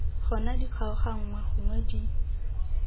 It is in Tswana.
gona di kgaoganngwe gonwe di